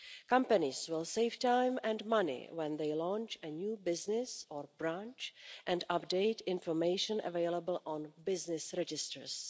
Companies will save time and money when they launch a new business or branch and update information available on business registers.